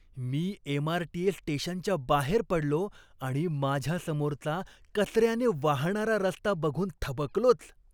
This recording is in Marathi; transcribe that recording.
मी एमआरटीएस स्टेशनच्या बाहेर पडलो आणि माझ्यासमोरचा कचऱ्याने वाहणारा रस्ता बघून थबकलोच.